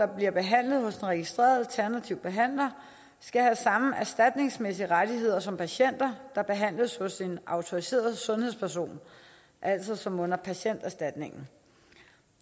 bliver behandlet hos en registreret alternativ behandler skal have samme erstatningsmæssige rettigheder som patienter der behandles hos en autoriseret sundhedsperson altså som under patienterstatningen